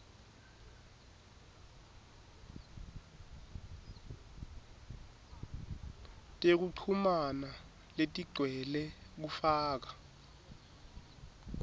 tekuchumana letigcwele kufaka